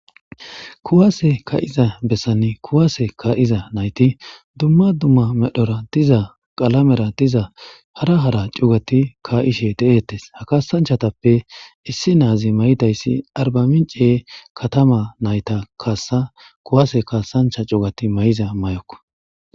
kuwaase ka7iza bessani kuwaase ka7iza nayti dumma dumma medhora diza qalamera diza hara hara cugati ka7ishe de7eettes ha kaasanchatappe issi naazi may7idayssi arbami cee katama nayta kaassa kuwase kaasancha cuugati may7iza may7okk